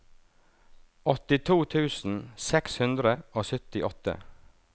åttito tusen seks hundre og syttiåtte